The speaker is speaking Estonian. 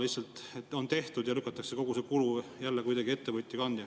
Lihtsalt on tehtud ja lükatakse kogu see kulu jälle kuidagi ettevõtja kanda.